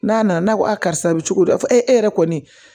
N'a nana n'a ko a karisa bɛ cogo di fɔ e yɛrɛ kɔni